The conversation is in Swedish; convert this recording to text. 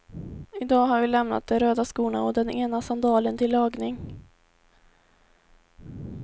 I dag har vi lämnat de röda skorna och den ena sandalen till lagning.